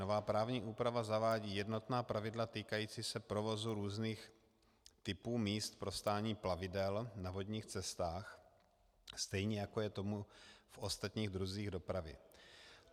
Nová právní úprava zavádí jednotná pravidla týkající se provozu různých typů míst pro stání plavidel na vodních cestách, stejně jako je tomu v ostatních druzích dopravy.